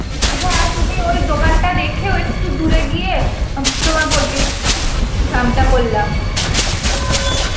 ওই দোকানটা দেখে ও একটু দূরে গিয়ে আ তোমার poultry farm টা করলা.